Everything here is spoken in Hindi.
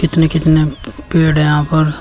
कितने कितने पेड़ हैं यहां पर।